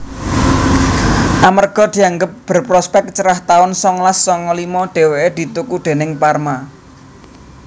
Amerga dianggep berprospèk cerah taun songolas songo limo déweké dituku déning Parma